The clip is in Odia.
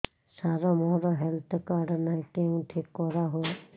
ସାର ମୋର ହେଲ୍ଥ କାର୍ଡ ନାହିଁ କେଉଁଠି କରା ହୁଏ